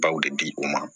Baw de di u ma